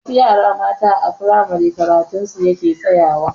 Wasu yara matan a firamare karatun su yake tsayawa.